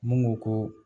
Mun ko ko